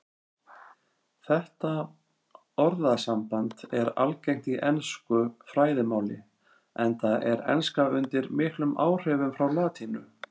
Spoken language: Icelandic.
Þetta orðasamband er algengt í ensku fræðimáli enda er enska undir miklum áhrifum frá latínu.